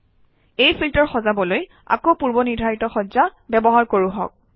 এই ফিল্টাৰ সজাবলৈ আকৌ পূৰ্বনিৰ্ধাৰিত সজ্জা ব্যৱহাৰ কৰোঁহক